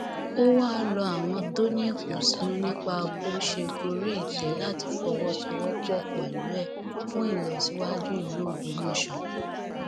ó wáá rọ àwọn tó ní ìkùnsínú nípa bóo ṣe gorí ìtẹ láti fọwọsowọpọ pẹlú ẹ fún ìlọsíwájú ìlú ògbómọṣọ